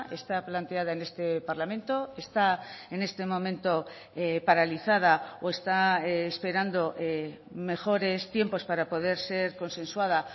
está planteada en este parlamento está en este momento paralizada o está esperando mejores tiempos para poder ser consensuada